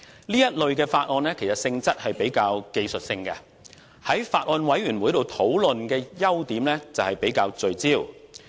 這類法案的性質較具技術性，在法案委員會上討論的優點是較為聚焦。